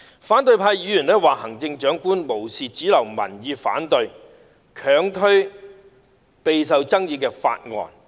反對派議員說行政長官"無視主流民意反對，強推備受爭議的法案"。